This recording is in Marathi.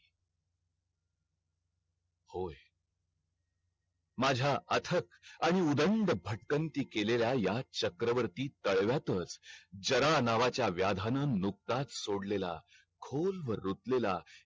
होय माझा अथक आणि उधंड भटकंती केलेल्या ह्या चक्रवर्ती तळव्यातच जाण नावाचा व्याधान नुकताच सोडलेला खोलवर रुतलेला